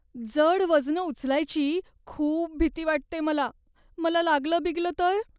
जड वजनं उचलायची खूप भीती वाटते मला. मला लागलं बिगलं तर?